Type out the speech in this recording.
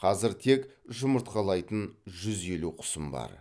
қазір тек жұмыртқалайтын жүз елу құсым бар